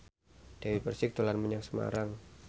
Dewi Persik dolan menyang Semarang